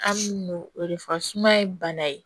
An n'o de fɔ suma ye bana ye